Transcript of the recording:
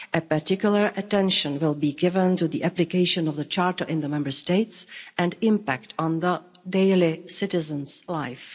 Particular attention will be given to the application of the Charter in the Member States and impact on citizens daily lives.